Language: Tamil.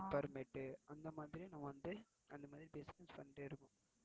Fur mat அந்தமாதிரி நம்ம வந்து, அந்தமாதிரி business பன்னிட்டு இருக்கோம்.